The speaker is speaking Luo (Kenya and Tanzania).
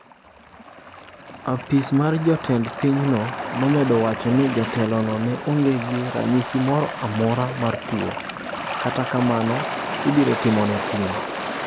Ofis mar jotend pinyno nomedo wacho ni jatelono ne onge gi ranyisi moro amora mar tuo, kata kamano ibiro timone pim.